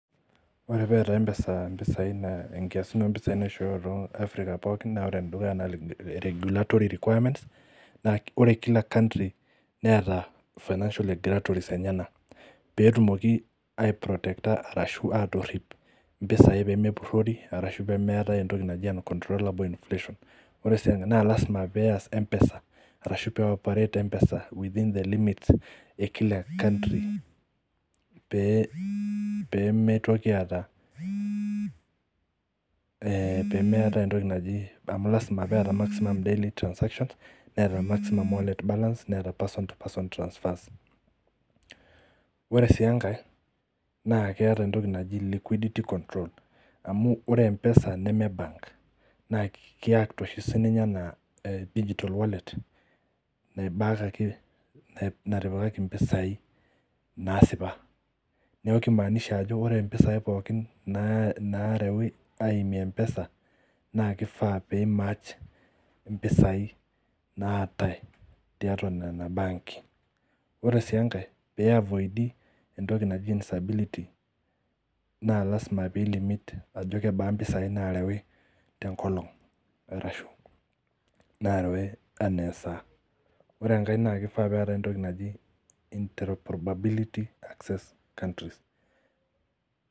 Ore pee etaa mpesa kisasa impisai naishoyo tee afirika pookin naa ore enedukuya naa regulatory requirements naa ore kila kantri Neeta financial regulatories enyena petumoki a protector ashu atotip mpisai pee metorori ashu pee meetae entoki najii unctroler infotion ore naa lasima pee eas mpesa ashu pee operate mpesa within the limit ee kila country pee mitoki taata amu lasima pee etaa daily maximum transaction netaa nimatch personal wallet balance Neeta persons transfers ore sii enkae naa keeta liquidity control amu ore mpesa neme bank naa kiact oshi sininye enaa digital wallet natipikaki mpisai naasipa neeku kimaanisha ore mpisai pookin narewu ayimie mpesa naa kifaa pematch mpisai naatai tiatua Nena banki oree sii enkaepl pee eiafordi entoki naaji instability naa lasima pee limiting eneba mpisai narewi tee nkolog ashu narewi enaa esaa oree enkae naa kifaa pee etae entoki naaji[interobability interest countries